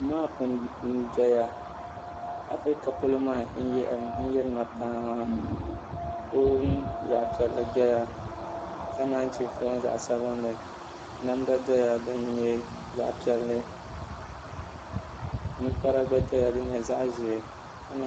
maapi ndoya afirika polo maa n yirina paa fon zaɣa piɛlli doya ka nanyichɛ fon zaɣa sabinli namda doya din nyɛ zaɣa piɛlli ninkpara gba doya din nyɛ zaɣa ʒee ka